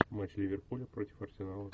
матч ливерпуля против арсенала